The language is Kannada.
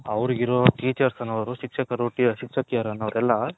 ಅವರಗಿರೋ Teachers ಅನ್ನೋರು ಶಿಕ್ಷಕರು ಎಲ್ಲಾ.